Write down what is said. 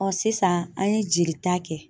Ɔ sisan an ye jelita kɛ